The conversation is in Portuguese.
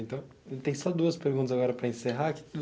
Então, tem só duas perguntas agora para encerrar.